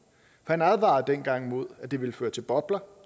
han advarede dengang mod at det vil føre til bobler